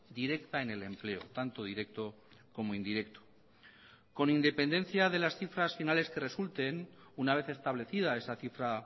directa en el empleo tanto directo como indirecto con independencia de las cifras finales que resulten una vez establecida esa cifra